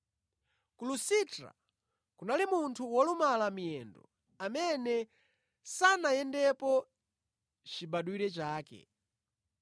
Ku Lusitra kunali munthu wolumala miyendo, amene sanayendepo chibadwire chake.